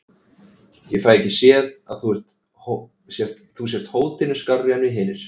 Ég fæ ekki séð að þú sért hótinu skárri en við hinir.